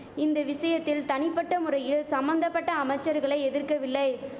இந்த விசயத்தில் தனிபட்ட முறையில் சம்மந்தபட்ட அமைச்சர்களை எதிர்க்கவில்லை